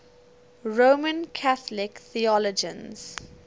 roman catholic theologians